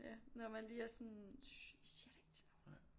Ja når man lige er sådan shhh vi siger det ikke til nogen